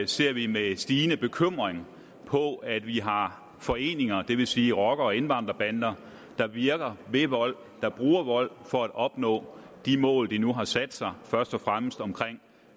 ser vi med stigende bekymring på at vi har foreninger det vil sige rocker og indvandrerbander der virker ved vold bruger vold for at opnå de mål de nu har sat sig først og fremmest om